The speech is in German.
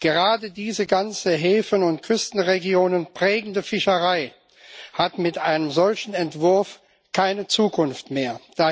Gerade diese ganze Häfen und Küstenregionen prägende Fischerei hat mit einem solchen Entwurf keine Zukunft mehr.